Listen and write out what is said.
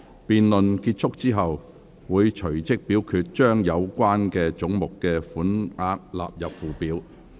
辯論結束後，會隨即表決將有關總目的款額納入附表。